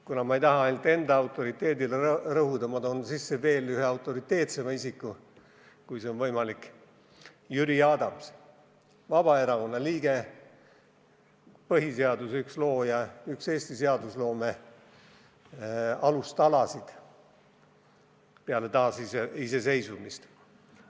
Kuna ma ei taha ainult enda autoriteedile rõhuda, toon ma sisse ühe autoriteetsema isiku: Jüri Adams, Vabaerakonna liige, üks põhiseaduse loojaid, üks Eesti seadusloome alustalasid peale taasiseseisvumist.